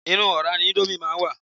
Inú ọ̀rá ni íńdómì máa ń wà.